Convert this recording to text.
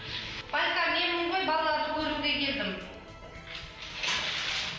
байка менмін ғой балаларды көруге келдім